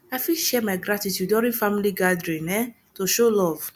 i fit share my gratitude during family gathering um to show love